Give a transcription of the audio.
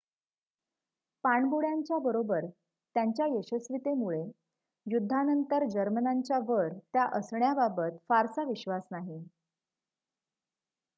पाणबुड्यांच्या बरोबर त्यांच्या यशस्वीतेमुळे युद्धानंतर जर्मनांच्या वर त्या असण्या बाबत फारसा विश्वास नाही